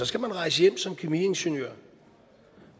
skal rejse hjem som kemiingeniør